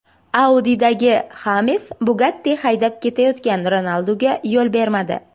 Audi’dagi Xames Bugatti haydab ketayotgan Ronalduga yo‘l bermadi .